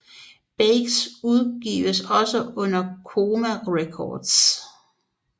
Baker udgives også under Coma Records